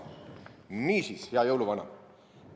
Niisiis, hea jõuluvana!